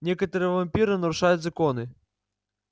некоторые вампиры нарушают законы